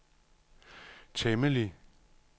temmelig